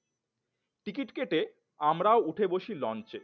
ticket কেটে আমরা ও উঠে বসি লঞ্চে